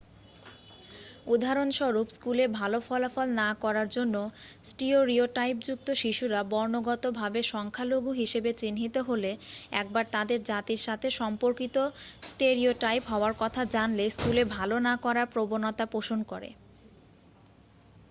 উদাহরণস্বরূপ স্কুলে ভাল ফলাফল না করার জন্য স্টিওরিওটাইপযুক্ত শিশুরা বর্ণগত ভাবে সংখ্যালঘু হিসাবে চিহ্নিত হলে একবার তাদের জাতির সাথে সম্পর্কিত স্টেরিওটাইপ হওয়ার কথা জানলে স্কুলে ভাল না করার প্রবণতা পোষণ করে